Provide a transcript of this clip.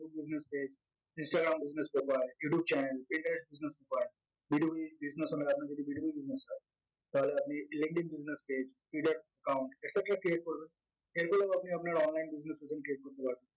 instagram business profile বা youtube channel B to Business owner রা আপনার যদি B to Business হয় তাহলে আপনি linkedin business page twitter account create করবেন আপনি আপনার online business presence create করতে পারবেন